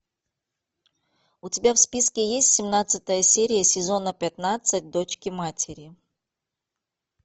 у тебя в списке есть семнадцатая серия сезона пятнадцать дочки матери